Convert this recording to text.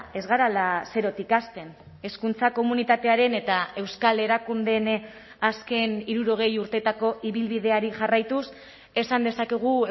ez garela zerotik hasten hezkuntza komunitatearen eta euskal erakundeen azken hirurogei urteetako ibilbideari jarraituz esan dezakegu